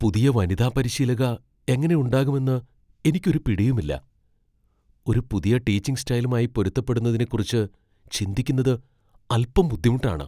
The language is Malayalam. പുതിയ വനിതാ പരിശീലക എങ്ങനെ ഉണ്ടാകുമെന്ന് എനിക്ക് ഒരു പിടിയുമില്ല . ഒരു പുതിയ ടീച്ചിങ് സ്റ്റൈലുമായി പൊരുത്തപ്പെടുന്നതിനെക്കുറിച്ച് ചിന്തിക്കുന്നത് അൽപ്പം ബുദ്ധിമുട്ടാണ് .